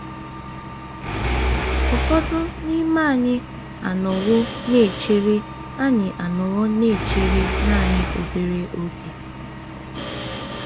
Ụfọdụ n’ime anyị anọwo na-echere anyị anọwo na-echere naanị obere oge.